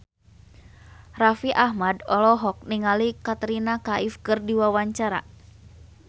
Raffi Ahmad olohok ningali Katrina Kaif keur diwawancara